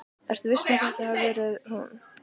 Ertu viss um að þetta hafi verið hún?